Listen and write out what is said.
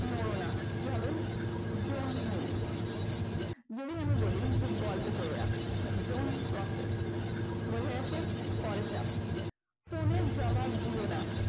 নোর না কি হবে don't move যদি আমি বলি গল্প কোরো না don't gossip বোঝা গেছে পরেরটা। ফোনের জবাব দিও না